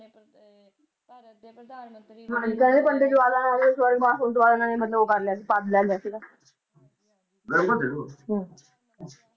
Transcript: ਕਹਿੰਦੇ ਨੇ ਪੰਡਿਤ ਜਵਾਹਰ ਲਾਲ ਨਹਿਰੂ ਦੇ ਸ੍ਰਵਗਵਾਸ ਹੋਣ ਤੋਂ ਬਾਅਦ ਓਹਨਾ ਨੇ ਉਹ ਕਰਲਿਆ ਸੀ ਲੇਲੇਯਾ ਸੀਗਾ